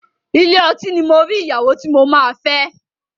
Ilé ọtí ni mo rí ìyàwó tí mo máa fẹ́.